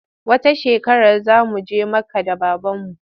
Wata shekarar za mu je Makka da babanmu.